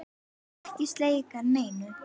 Ekki skeikar neinu.